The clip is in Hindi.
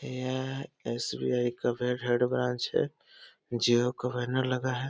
यह एस.बी.आई. का हेड ब्रांच है। जिओ का बैनर लगा है।